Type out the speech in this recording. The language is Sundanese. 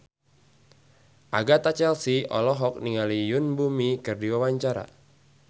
Agatha Chelsea olohok ningali Yoon Bomi keur diwawancara